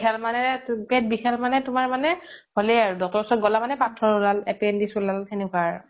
পেত বিখাল মানে তুমাৰ মানে হ্'লে আৰ doctor ৰ ওচৰত গ্'লা মানে পাথ্থৰ উলাল appendix উলাল সেনেকুৱা আৰু